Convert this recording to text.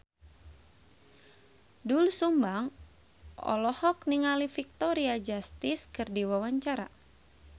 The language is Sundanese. Doel Sumbang olohok ningali Victoria Justice keur diwawancara